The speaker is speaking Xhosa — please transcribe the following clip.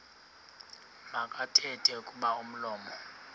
makathethe kuba umlomo